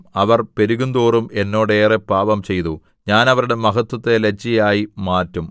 അവർ പെരുകുന്തോറും എന്നോട് ഏറെ പാപംചെയ്തു ഞാൻ അവരുടെ മഹത്ത്വത്തെ ലജ്ജയായി മാറ്റും